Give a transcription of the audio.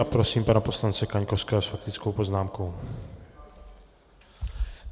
A prosím pana poslance Kaňkovského s faktickou poznámkou.